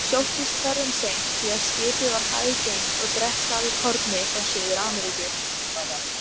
Hann sló í lærið á Össuri með silfurbúnum, fordildarlegum göngustaf svo Össur sárkenndi til.